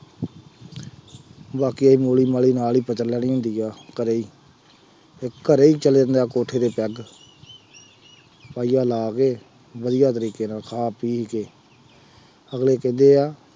ਬਾਕੀ ਮੂਲੀ ਮਾਲੀ ਨਾਲ ਹੀ ਕਤਰ ਲੈਣੀ ਹੁੰਦੀ ਹੈ, ਘਰੇ ਹੀ ਘਰੇ ਹੀ ਚੱਲਦੇ ਹੁੰਦੇ ਆ ਕੋਠੇ ਤੇ ਪੈੱਗ, ਪਾਈਆਂ ਲਾ ਕੇ ਵਧੀਆ ਤਰੀਕੇ ਨਾਲ ਖਾ ਪੀ ਕੇ ਅਗਲੇ ਕਹਿੰਦੇ ਆ